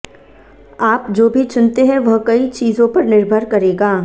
आप जो भी चुनते हैं वह कई चीजों पर निर्भर करेगा